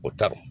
O taar